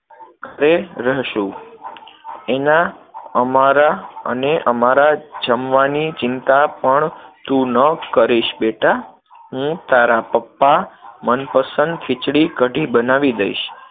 ઘરે રહેશું. એના, અમારા અને અમારા જમવાની ચિંતા પણ તું ન કરીશ, બેટા, હું તારા પપ્પા મનપસંદ ખીચડી-કઢી બનાવી દઈશ,